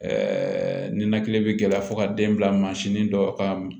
ninakili bɛ gɛlɛya fo ka den bila mansin dɔ ka m